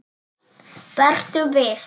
Vertu viss.